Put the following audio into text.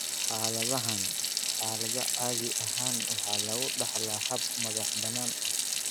Xaaladahan, xaalada caadi ahaan waxa lagu dhaxlaa hab madax-bannaani ah.